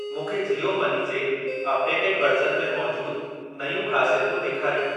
मूंखे जीओ मनी जे updated version में मौजूद नयूं ख़ासियतूं ॾेखारियो।